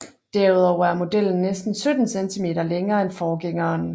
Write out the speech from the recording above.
Derudover er modellen næsten 17 cm længere end forgængeren